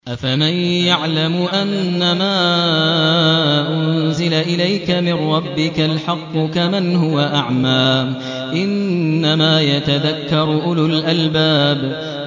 ۞ أَفَمَن يَعْلَمُ أَنَّمَا أُنزِلَ إِلَيْكَ مِن رَّبِّكَ الْحَقُّ كَمَنْ هُوَ أَعْمَىٰ ۚ إِنَّمَا يَتَذَكَّرُ أُولُو الْأَلْبَابِ